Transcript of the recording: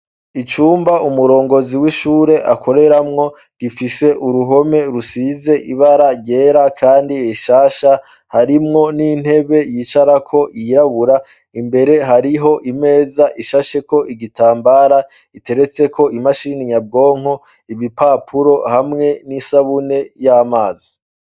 icumba umurongozi w'ishure akoreramwo gifise uruhome rusize ibara ryera kandi rishasha harimwo n'intebe yicarako yirabura imbere hariho imeza ishasheko igitambara iteretseko imashini nyabwonko ibipapuro hamwe n'isabune y'amazi